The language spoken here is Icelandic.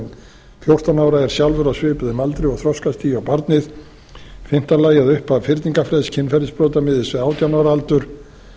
en fjórtán ára er sjálfur á svipuðum aldri og þroskastigi og barnið í fimmta lagi að upphaf fyrningarfrests kynferðisbrota miðist við átján ára aldur